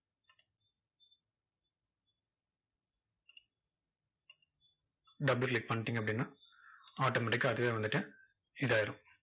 double click பண்ணிட்டீங்க அப்படின்னா automatic கா அதுவே வந்துட்டு, இதாயிரும்.